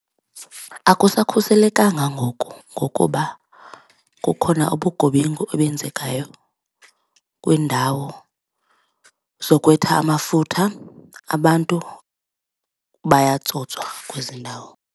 Akusakhuselekanga ngoku ngokuba kukhona ubugebengu obenzekayo kwiindawo zokwetha amafutha, abantu bayatsotswa kwezi ndawo.